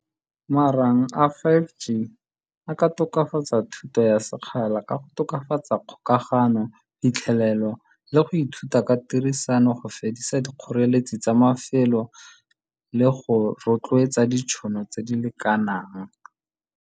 Marang a five G a ka tokafatsa thuto ya sekgala ka go tokafatsa kgokagano, phitlhelelo le go ithuta ka tirisano go fedisa dikgoreletsi tsa mafelo le go rotloetsa ditšhono tse di lekanang.